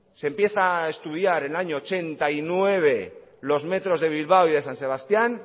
se empieza a estudiar en el año ochenta y nueve los metros de bilbao y de san sebastián